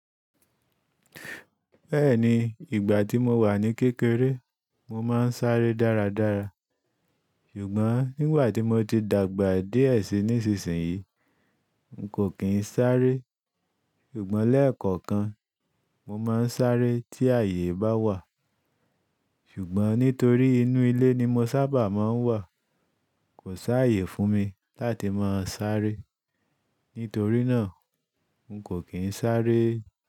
Bẹ́ẹ̀ni, ìgbà tí mo wà ní kékeré, mọ máa ń sáré dáradára. Ṣùgbọ́n nígbà tí mọ ti dàgbà díẹ̀ si nísinsìnyí, n kò kí ń sáré. Ṣùgbọ́n lẹ́ẹ̀kọ̀kan, mọ máa ń sáré tí àyè bá wà. Ṣùgbọ́n nítorí inú ilé ni mọ sábà máa ń wà, kò sáyè fún mi láti máa sáré. Nítorí náà, n kò kí ń sáré.